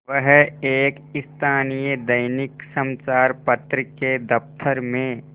वह एक स्थानीय दैनिक समचार पत्र के दफ्तर में